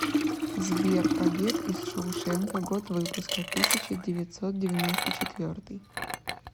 сбер побег из шоушенка год выпуска тысяча девятьсот девяносто четвертый